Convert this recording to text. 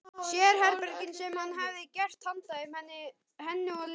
Sérherbergin sem hann hefði gert handa þeim, henni og Lenu.